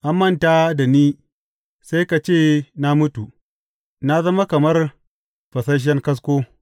An manta da ni sai ka ce na mutu; na zama kamar fasasshen kasko.